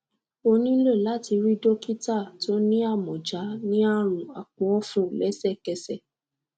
o nilo láti rí dokita tó ní amọja ní àrùn àpòọfun lẹsẹkẹsẹ